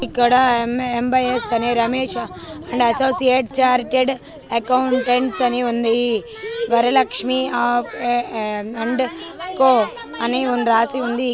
ఇక్కడ ఎం ముబైస్ Ramesh and associates chartered accountants అని ఉంది వరలక్ష్మి ఆఫ్ అండ్ కో అని రాసి ఉంది